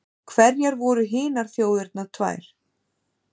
Hverjar voru hinar þjóðirnar tvær?